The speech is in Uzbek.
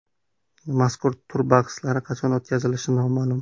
Mazkur tur bahslari qachon o‘tkazilishi noma’lum.